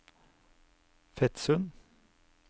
Fetsund